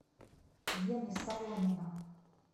гены соломина